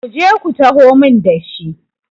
ku je ku taho min da shi!